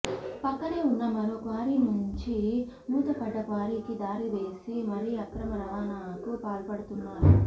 పక్కనే ఉన్న మరో క్వారీ నుంచి మూతపడ్డ క్వారీకి దారి వేసి మరీ అక్రమ రవాణాకు పాల్పడుతున్నారు